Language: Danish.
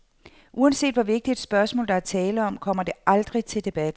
Uanset hvor vigtigt et spørgsmål, der er tale om, kommer det aldrig til debat.